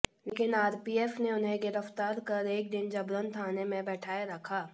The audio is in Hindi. लेकिन आरपीएफ ने उन्हें गिरफ्तार कर एक दिन जबरन थाने में बैठाए रखा